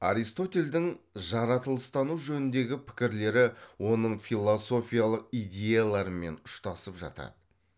аристотельдің жаратылыстану жөніндегі пікірлері оның философиялық идеяларымен ұштасып жатады